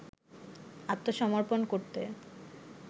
আত্মসমর্পণ করতে